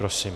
Prosím.